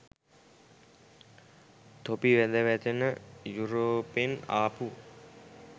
තොපි වැද වැටෙන යුරෝපෙන් ආපු